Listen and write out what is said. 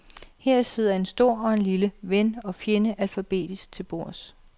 Her sidder stor og lille, ven og fjende alfabetisk til bords.